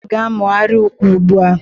Ndị ukwe na-amụgharị ukwe ugbu a